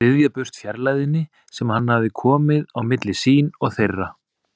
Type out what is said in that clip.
Ryðja burt fjarlægðinni sem hann hafði komið á milli sín og þeirra.